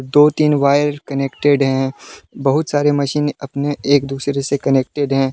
दो तीन wire connected है बहुत सारी मशीन अपने एक दूसरे से कनेक्टेड है।